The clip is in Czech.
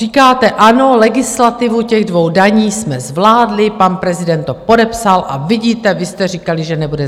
Říkáte: Ano, legislativu těch dvou daní jsme zvládli, pan prezident to podepsal, a vidíte, vy jste říkali, že nebude.